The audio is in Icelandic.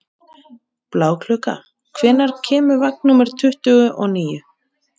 Bláklukka, hvenær kemur vagn númer tuttugu og níu?